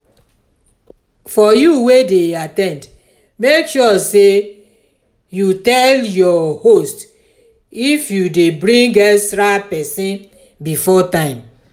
for you wey de at ten d make sure say you tell your host if you de bring extra persin before time